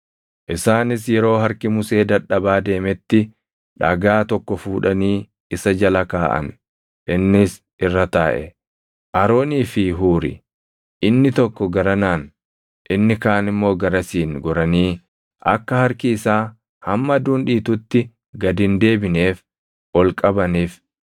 Isaanis yeroo harki Musee dadhabaa deemetti dhagaa tokko fuudhanii isa jala kaaʼan; innis irra taaʼe. Aroonii fi Huuri inni tokko garanaan inni kaan immoo garasiin goranii akka harki isaa hamma aduun dhiitutti gad hin deebineef ol qabaniif.